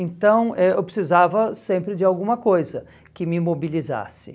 Então, eh eu precisava sempre de alguma coisa que me mobilizasse.